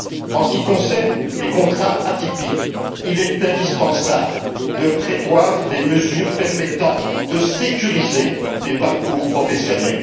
En ce qui concerne les contrats atypiques, il est indispensable de prévoir des mesures permettant de sécuriser les parcours professionnels.